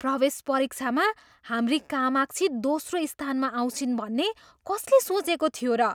प्रवेश परीक्षामा हाम्री कामाक्षी दोस्रो स्थानमा आउँछिन् भन्ने कसले सोचेको थियो र?